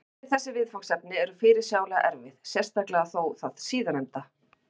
Bæði þessi viðfangsefni eru fyrirsjáanlega erfið, sérstaklega þó það síðarnefnda.